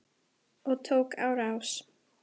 Og tók á rás.